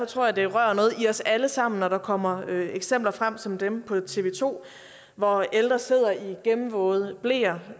tror det rører noget i os alle sammen når der kommer eksempler frem som dem på tv to hvor ældre sidder i gennemvåde bleer